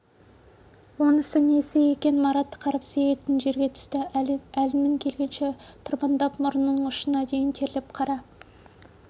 онысы несі екен марат қарбыз егетін жерге түсті әлінің келгенінше тырбыңдап мұрнының ұшына дейін терлеп қара